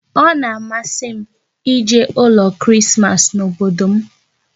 Ọ na-amasị m ije ụlọ Krismas n'obodo m